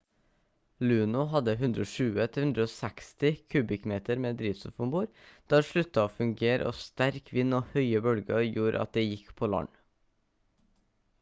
luno hadde 120-160 kubikkmeter med drivstoff om bord da det sluttet å fungere og sterk vind og høye bølger gjorde at det gikk på land